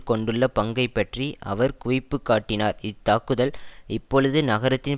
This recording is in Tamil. கொண்டுள்ள பங்கை பற்றி அவர் குவிப்பு காட்டினார் இத்தாக்குதல் இப்பொழுது நகரத்தின்